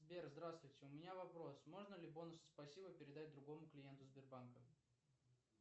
сбер здравствуйте у меня вопрос можно ли бонусы спасибо передать другому клиенту сбербанка